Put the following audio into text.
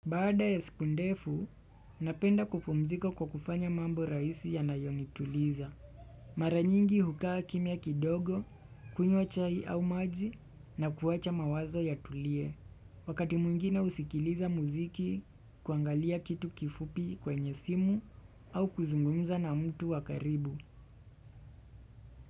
Baada ya sikundefu, napenda kupumzika kwa kufanya mambo rahisi yanayonituliza. Maranyingi hukaa kimya kidogo, kunywa chai au maji na kuwacha mawazo yatulie. Wakati mwingine husikiliza muziki, kuangalia kitu kifupi kwenye simu au kuzungumza na mtu wakaribu.